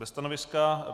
Bez stanoviska.